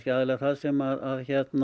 aðallega það sem